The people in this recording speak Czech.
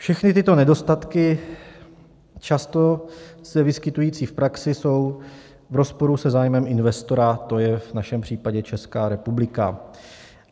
Všechny tyto nedostatky často se vyskytující v praxi jsou v rozporu se zájmem investora, to je v našem případě Česká republika.